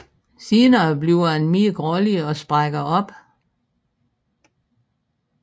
Senere bliver den mere grålig og sprækker op